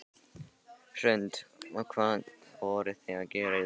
Hrund: Og hvað voruð þið að gera í dag?